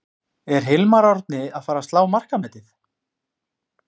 Er Hilmar Árni að fara að slá markametið?